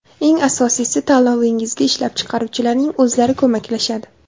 Eng asosiysi tanlovingizga ishlab chiqaruvchilarning o‘zlari ko‘maklashadi.